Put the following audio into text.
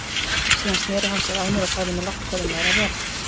Síðan sneri hann sér að mér og sagði mér lágt hvað um væri að vera.